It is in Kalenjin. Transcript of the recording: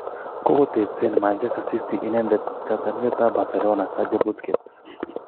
kogotebsen manchester city inendet kotiorindet ap Barcelona Sergio Busquets.